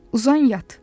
Uzan, yat.